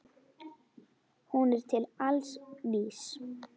Hún er til alls vís.